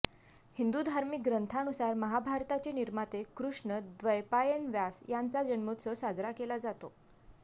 हिंदू धार्मिक ग्रंथानुसार महाभारताचे निर्माते कृष्ण द्वैपायन व्यास यांचा जन्मोत्सव साजरा केला जातो